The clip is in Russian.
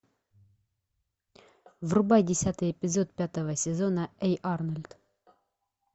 врубай десятый эпизод пятого сезона эй арнольд